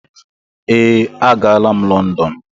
Ee, aga la'm London.